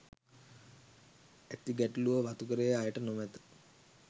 ඇති ගැටලුව වතුකරයේ අයට නොමැත